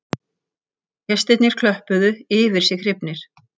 Gestirnir klöppuðu yfir sig hrifnir